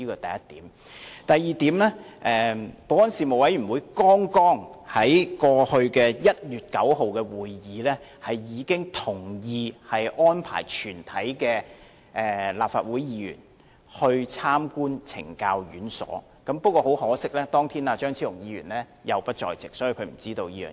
第二，事務委員會在剛過去的1月9日會議上，同意安排全體立法會議員參觀懲教院所，可惜張超雄議員當天亦不在席，所以便不知道會有這項安排。